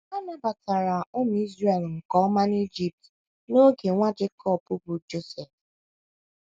A nabatara ụmụ Izrel nke ọma n’Ijipt n’oge nwa Jekọb bụ́ Josef.